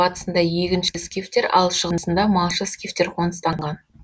батысында егінші скифтер ал шығысында малшы скифтер қоныстанған